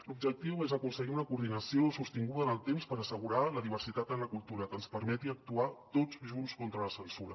l’objectiu és aconseguir una coordinació sostinguda en el temps per assegurar la diversitat en la cultura que ens permeti actuar tots junts contra la censura